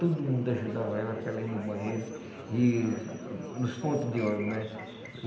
Todo mundo ajudava ela para ela ir no banheiro e nos ponto de ônibus, né?